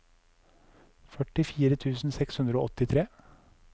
førtifire tusen seks hundre og åttitre